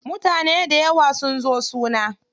Mutane dayawa sun zo suna.